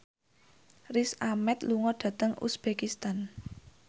Riz Ahmed lunga dhateng uzbekistan